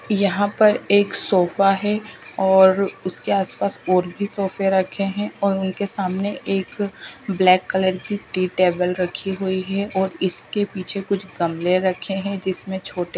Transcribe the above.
यहां पर एक सोफा है और उसके आसपास और भी सोफे रखे हैं और उनके सामने एक ब्लैक कलर की टी टेबल रखी हुई है और इसके पीछे कुछ गमले रखे हैं जिसमें छोटे--